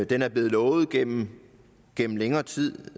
den er blevet lovet gennem gennem længere tid